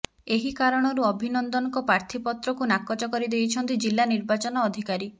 ଏହି କାରଣରୁ ଅଭିନନ୍ଦନଙ୍କ ପ୍ରାର୍ଥୀ ପତ୍ରକୁ ନାକଚ କରି ଦେଇଛନ୍ତି ଜିଲ୍ଲା ନିର୍ବାଚନ ଅଧିକାରୀ